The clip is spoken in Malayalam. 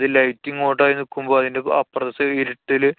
light ഇങ്ങോട്ടായി നിക്കുമ്പോ അതിന്‍റെ അപ്പറത്തെ സൈ~ ഇരുട്ടില്